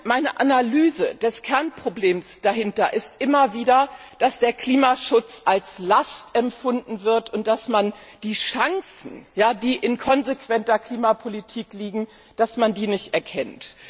Meine Analyse des Kernproblems dahinter ist immer wieder, dass der Klimaschutz als Last empfunden wird und dass man die Chancen, die in einer konsequenten Klimapolitik liegen, nicht erkennt.